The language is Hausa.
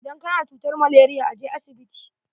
Idan ka na da cutar malaria, a je asibiti.